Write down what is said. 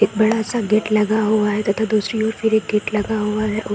एक बड़ा सा गेट लगा हुआ है तथा दूसरी ओर फिर एक गेट लगा हुआ है। ओ --